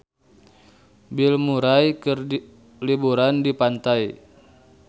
Bill Murray keur liburan di pantai